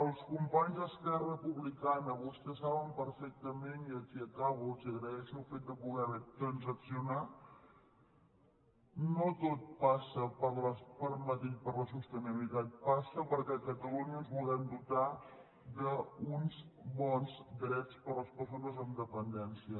als companys d’esquerra republicana vostès saben perfectament i aquí acabo els agraeixo el fet d’haver pogut transaccionar que no tot passa per madrid per la sostenibilitat passa perquè a catalunya ens vulguem dotar d’uns bons drets per a les persones amb dependència